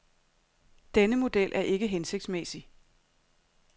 Denne model er ikke hensigtsmæssig.